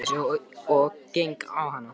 Ég segi henni frá þessu og geng á hana.